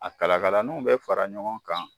A kalakalaninw bɛ fara ɲɔgɔn kan